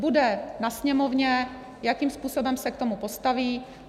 Bude na Sněmovně, jakým způsobem se k tomu postaví.